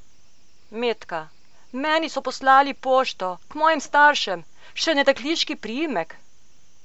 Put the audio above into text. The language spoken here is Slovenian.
Metka: 'Meni so poslali pošto, k mojim staršem, še na dekliški priimek.